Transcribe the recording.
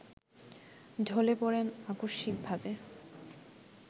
ঢলে পড়েন আকস্মিকভাবে